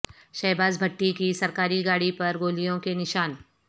شہباز بھٹی کی سرکاری گاڑی پر گولیوں کے نشان